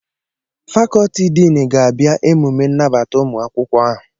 Fakọtị Din ga-abịa emume nnabata ụmụ akwụkwọ ahụ